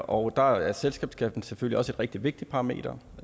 og der er selskabsskatten selvfølgelig også et rigtig vigtigt parameter